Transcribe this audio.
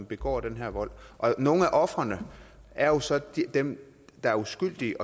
begå den her vold nogle af ofrene er jo så dem der er uskyldige